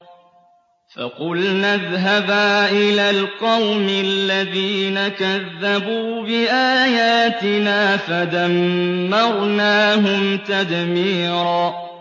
فَقُلْنَا اذْهَبَا إِلَى الْقَوْمِ الَّذِينَ كَذَّبُوا بِآيَاتِنَا فَدَمَّرْنَاهُمْ تَدْمِيرًا